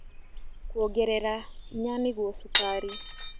Kwongerera hinya nĩguo cukari